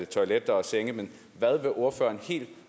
toiletter og senge men hvad vil ordføreren helt